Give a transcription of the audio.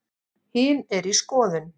Hin er í skoðun.